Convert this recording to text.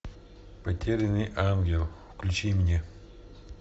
потерянный ангел включи мне